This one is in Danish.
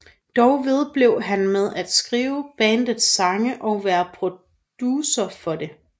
Dog vedblev han med at skrive bandets sange og være producer for det